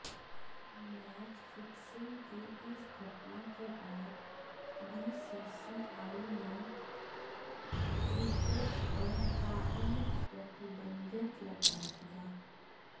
match fixing की इस घटना के बाद बीसीसीआई ने क्रिकेटर पर ताउम्र प्रतिबंधित लगा दिया